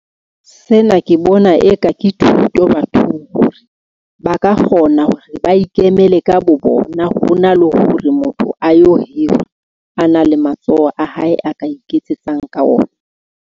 Sena ke bona eka ke thuto bathong hore ba ka kgona hore ba ikemele ka bo bona. Hona le hore motho a yo hira, a na le matsoho a hae, a ka iketsetsang ka ona.